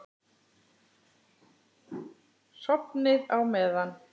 Sofnið á meðan.